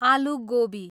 आलु गोबी